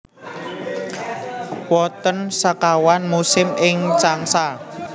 Wonten sekawan musim ing Changsa